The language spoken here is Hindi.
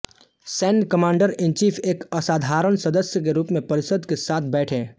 सैन्य कमांडरइनचीफ एक असाधारण सदस्य के रूप में परिषद के साथ बैठे